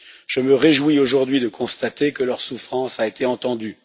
Je me réjouis aujourd'hui de constater que leur souffrance a été entendue.